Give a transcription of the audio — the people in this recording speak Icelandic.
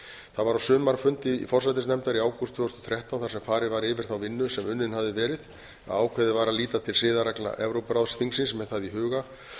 var á sumarfundi forsætisnefndar í ágúst tvö þúsund og þrettán þar sem farið var yfir þá vinnu sem unnin hafði verið að ákveðið var að líta til siðareglna evrópuráðsþingsins með það í huga